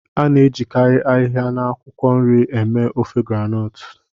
A na-ejikarị ahịhịa na akwụkwọ nri eme ofe groundnut